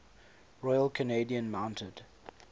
royal canadian mounted